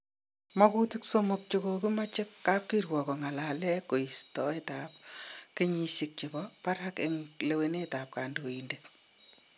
Makutik somok chekokimache kapkirwok kongalelen ko istaet ab kenyisiek chebo barak en lewenisiet ab kandoindet